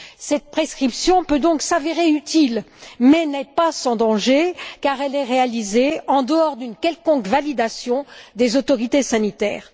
Cette prescription peut donc s'avérer utile, mais n'est pas sans danger car elle est réalisée en dehors d'une quelconque validation des autorités sanitaires.